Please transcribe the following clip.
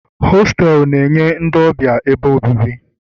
họtelu na-enye ndị ọbịa ebe obibi